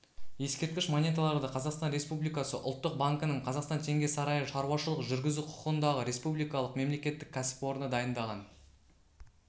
ескерткіш монеталарды қазақстан республикасы ұлттық банкінің қазақстан теңге сарайы шаруашылық жүргізу құқығындағы республикалық мемлекеттік кәсіпорны дайындаған